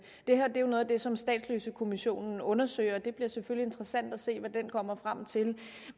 det her er jo noget af det som statsløsekommissionen undersøger og det bliver selvfølgelig interessant at se hvad den kommer frem til